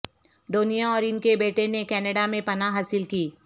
ڈونیا اور ان کے بیٹے نے کینیڈا میں پناہ حاصل کی